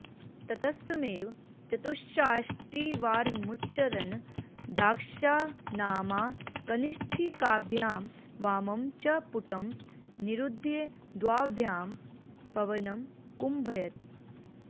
ततस्तमेव चतुष्षष्टिवारमुच्चरन् दक्षानामाकनिष्ठिकाभ्यां वामं च पुटं निरुध्य द्वाभ्यां पवनं कुम्भयेत्